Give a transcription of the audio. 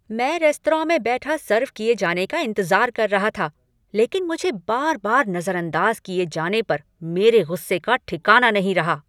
मैं रेस्तरां में बैठा सर्व किए जाने का इंतज़ार कर रहा था लेकिन मुझे बार बार नजरअंदाज किए जाने पर मेरे गुस्से का ठिकाना नहीं रहा।